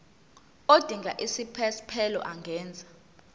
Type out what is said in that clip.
odinga isiphesphelo angenza